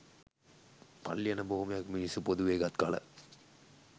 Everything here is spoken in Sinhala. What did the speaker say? පල්ලි යන බොහොමයක් මිනිස්සු පොදුවේ ගත් කල